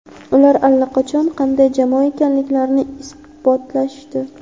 Ular allaqachon qanday jamoa ekanliklarini ibotlashdi.